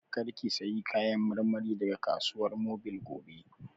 Kar ki sayo Kayan marmari daga Kasuwar Mobil gobe!